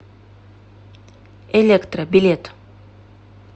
электра билет